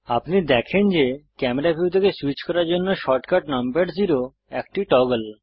আপনি দেখেন যে ক্যামেরা ভিউ থেকে সুইচ করার জন্য শর্টকাট নামপ্যাড জেরো একটি টগল